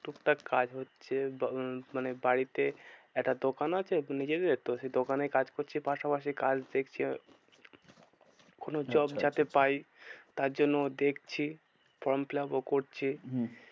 টুকটাক কাজ হচ্ছে। মানে বাড়িতে একটা দোকান আছে নিজেদের তো সেই দোকানেই কাজ করছি পাশাপাশি কাজ দেখছি। কোনো job আছে যাতে পাই। তার জন্য দেখছি form fill up ও করছি। হম